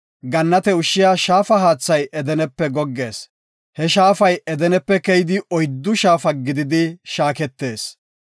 Gannate ushshiya shaafa haathay Edenepe goggees. He shaafay Edenepe keydi oyddu shaafu keyidi shaaketees.